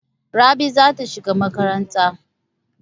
Rabi za ta shiga makaranta.